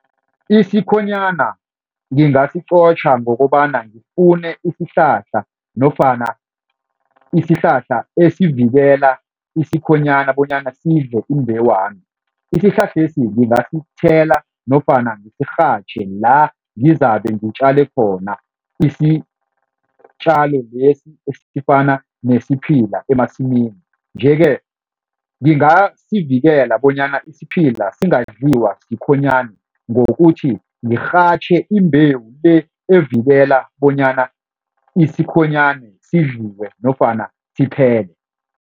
Isikhonyana ngingasiqotjha ngokobana ngifune isihlahla nofana isihlahla esivikela isikhonyana bonyana sidle imbewami. Isihlahlesi ngingasithela nofana ngisirhatjhe la ngizabe ngitjale khona isitjalo lesi esifana nesiphila emasimini, nje-ke ngingasivikela bonyana isiphila singadliwa sikhonyana ngokuthi ngirhatjhe imbewu le evikela bonyana isikhonyana sidliwe nofana siphele.